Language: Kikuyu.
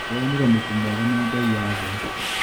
Ndĩronire mũtu mwega na bei ya thĩ.